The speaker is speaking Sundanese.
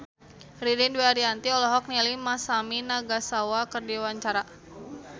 Ririn Dwi Ariyanti olohok ningali Masami Nagasawa keur diwawancara